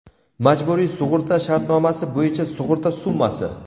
Majburiy sug‘urta shartnomasi bo‘yicha sug‘urta summasi: .